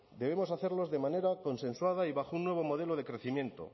debemos hacerlos de manera consensuada y bajo un nuevo modelo de crecimiento